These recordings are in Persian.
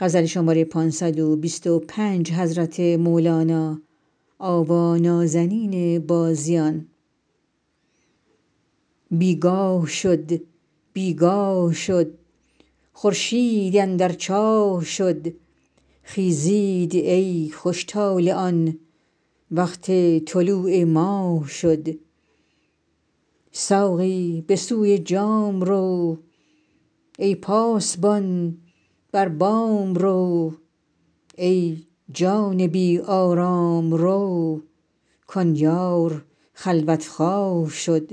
بی گاه شد بی گاه شد خورشید اندر چاه شد خیزید ای خوش طالعان وقت طلوع ماه شد ساقی به سوی جام رو ای پاسبان بر بام رو ای جان بی آرام رو کان یار خلوت خواه شد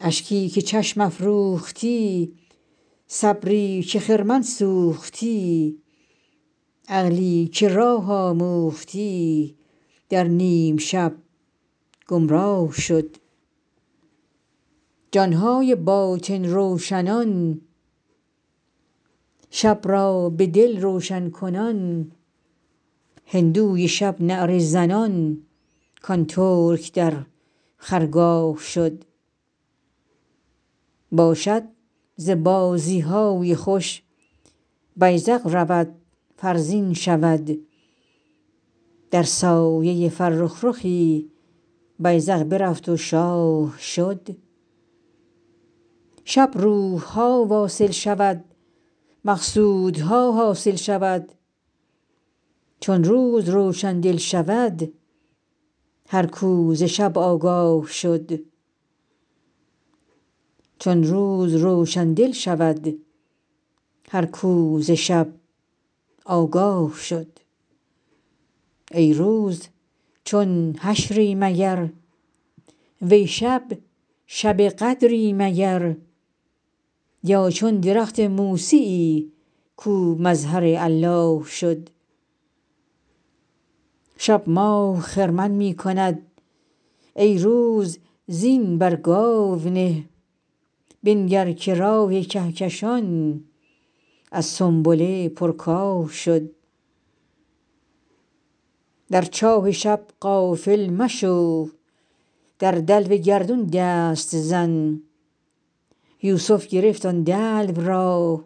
اشکی که چشم افروختی صبری که خرمن سوختی عقلی که راه آموختی در نیم شب گمراه شد جان های باطن روشنان شب را به دل روشن کنان هندوی شب نعره زنان کان ترک در خرگاه شد باشد ز بازی های خوش بیذق رود فرزین شود در سایه فرخ رخی بیذق برفت و شاه شد شب روح ها واصل شود مقصودها حاصل شود چون روز روشن دل شود هر کو ز شب آگاه شد ای روز چون حشری مگر وی شب شب قدری مگر یا چون درخت موسیی کو مظهر الله شد شب ماه خرمن می کند ای روز زین بر گاو نه بنگر که راه کهکشان از سنبله پرکاه شد در چاه شب غافل مشو در دلو گردون دست زن یوسف گرفت آن دلو را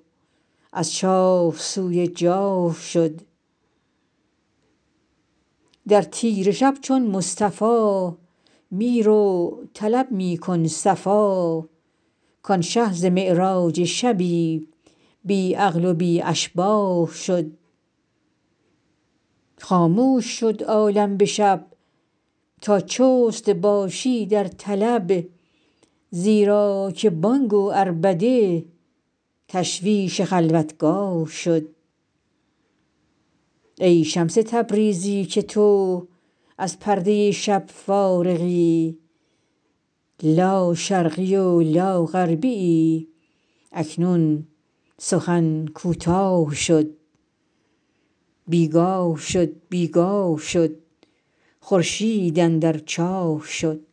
از چاه سوی جاه شد در تیره شب چون مصطفی می رو طلب می کن صفا کان شه ز معراج شبی بی مثل و بی اشباه شد خاموش شد عالم به شب تا چست باشی در طلب زیرا که بانگ و عربده تشویش خلوتگاه شد ای شمس تبریزی که تو از پرده شب فارغی لاشرقی و لاغربیی اکنون سخن کوتاه شد